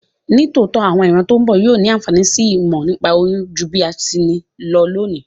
Nítòótó, àwon ìran to n bo yio ni ànfàní si ìmò nípa oyún ju bí a ti ni lo lónìí